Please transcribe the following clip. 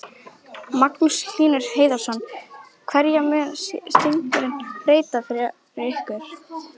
Magnús Hlynur Hreiðarsson: Hverju mun stígurinn breyta fyrir ykkur?